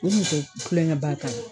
U kun te kulonkɛ ba k'a la.